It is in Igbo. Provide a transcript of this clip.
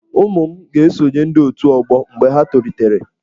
Ụmụ m ga-esonye ndị otù ọgbọ mgbe ha tolitere.